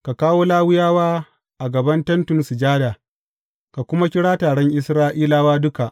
Ka kawo Lawiyawa a gaban Tentin Sujada, ka kuma kira taron Isra’ilawa duka.